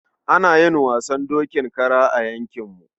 Ana yin wasan dokin kara a yankinmu.